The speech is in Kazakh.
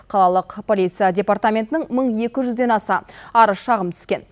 қалалық полиция департаментінің мың екі жүзден аса арыз шағым түскен